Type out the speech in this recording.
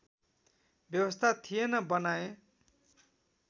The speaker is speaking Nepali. व्यवस्था थिएन बनाएँ